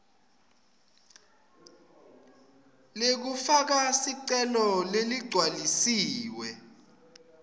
lekufaka sicelo leligcwalisiwe